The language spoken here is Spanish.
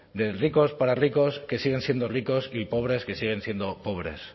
de ricos para ricos que siguen siendo ricos y pobres que siguen siendo pobres